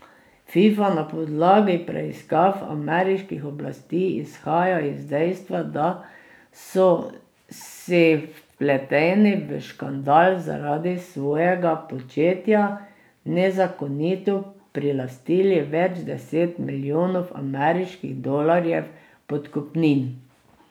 Fifa na podlagi preiskav ameriških oblasti izhaja iz dejstva, da so si vpleteni v škandal zaradi svojega početja nezakonito prilastili več deset milijonov ameriških dolarjev podkupnin.